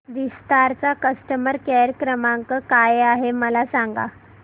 विस्तार चा customer care क्रमांक काय आहे मला सांगा